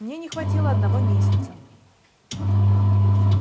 мне не хватило одного месяца